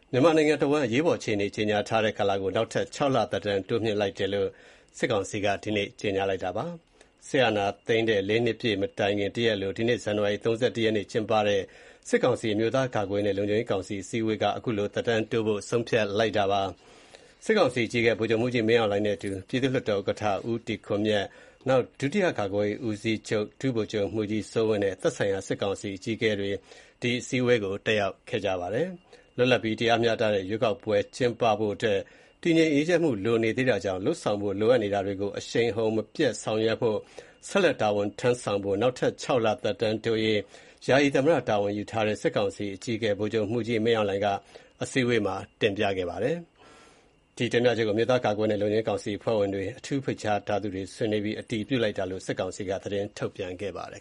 မြန်မာနိုင်ငံတဝှမ်း အရေးပေါ်အခြေအနေ ကြေညာထားတဲ့ ကာလကို နောက်ထပ် ၆ လ သက်တမ်း တိုးမြှင့်လိုက်တဲ့လိုက်တဲ့အကြောင်း စစ်ကောင်စီက ကြေညာပါတယ်။ စစ်တပ်အာဏာသိမ်းတဲ့ ၄ နှစ်ပြည့်မတိုင်ခင် တရက်အလို ဇန်နဝါရီလ ၃၁ ရက်နေ့က ကျင်းပတဲ့ စစ်ကောင်စီ အမျိုးသား ကာကွယ်ရေးနှင့် လုံခြုံရေးကောင်စီ အစည်းအဝေးက သက်တမ်းတိုးဖို့ ဆုံးဖြတ်လိုက်တာပါ။ စစ်ကောင်စီအကြီးအကဲ ဗိုလ်ချုပ်မှူးကြီး မင်းအောင်လှိုင်နဲ့အတူ ပြည်သူ့လွှတ်တော် ဥက္ကဋ္ဌ ဦးတီခွန်မြတ်၊ ဒုတိယ ကာကွယ်ရေးဦးစီးချုပ် ဗိုလ်ချုပ်မှူးကြီး စိုးဝင်းနဲ့ သက်ဆိုင်ရာ စစ်ကောင်စီ အကြီအးကဲတွေ အစည်းအဝေး တက်ရောက်ပါတယ်။ လွတ်လပ်ပြီး တရားမျှတတဲ့ ရွေးကောက်ပွဲ ကျင်းပဖို့အတွက် တည်ငြိမ်အေးချမ်းမှု လိုနေသေးတာကြောင့် လုပ်ဆောင်ဖို့ လိုအပ်နေတာတွေကို အရှိန်အဟုန် မပျက်ဆောင်ရွက်ဖို့၊ ဆက်လက်တာဝန်ထမ်းဆောင်ဖို့ နောက်ထပ် ၆ လ သက်တမ်းတိုးရေး ယာယီသမ္မတတာဝန် ယူထားတဲ့ စစ်ကောင်စီအကြီးကဲ ဗိုလ်ချုပ်မှူးကြီး မင်းအောင်လှိုင်က အစည်းအဝေးမှာ တင်ပြခဲ့တာပါ။ ဒီတင်ပြချက်ကို အမျိုးသားကာကွယ်ရေးနဲ့ လုံခြုံရေးကောင်စီ အဖွဲ့ဝင်တွေ၊ အထူးဖိတ်ကြားထားသူတွေ ဆွေးနွေးပြီး အတည်ပြုလိုက်တာလို့ စစ်ကောင်စီက သတင်းထုတ်ပြန်ပါတယ်